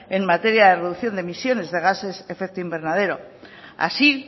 en materia de reducción de emisiones de gases efecto invernadero así